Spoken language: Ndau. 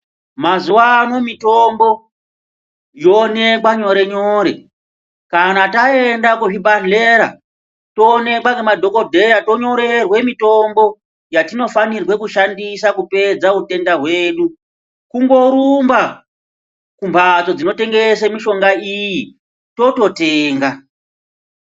Mazuva ano mitombo yoonekwa nyore nyore kana taenda kuzvibhedhlera toonekwa nemadhokodeya tonyorerwe mitombo yatinofana kushandisa kupedza hutenda hwedu kungorumba kumbatso dzinotengesa mishonga iyi tototenga.